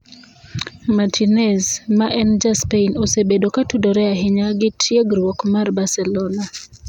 Martinez, ma en ja Spain, osebedo ka tudore ahinya gi tiegruok mar Barcelona.